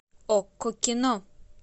окко кино